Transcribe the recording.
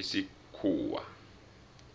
isikhuwa